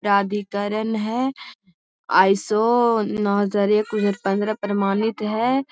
प्राधिकरण है। आई.एस.ओ. प्रमाणित है।